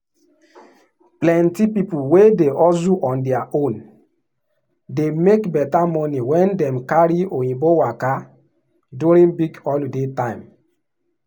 plenty people wey dey hustle on their own dey make better money when dem carry oyinbo waka during big holiday time.